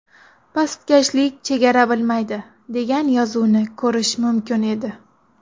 Pastkashlik chegara bilmaydi”, degan yozuvni ko‘rish mumkin edi.